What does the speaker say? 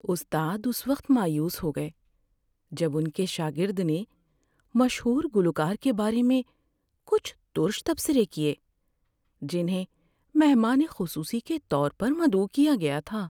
استاد اس وقت مایوس ہو گئے جب ان کے شاگرد نے مشہور گلوکار کے بارے میں کچھ تُرش تبصرے کیے جنہیں مہمان خصوصی کے طور پر مدعو کیا گیا تھا۔